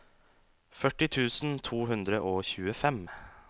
førti tusen to hundre og tjuefem